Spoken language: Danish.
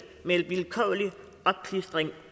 med en vilkårlig opklistring